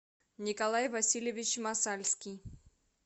николай васильевич масальский